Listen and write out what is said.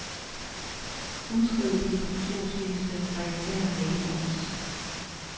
Udskriv distributionsliste fra intern mailbox.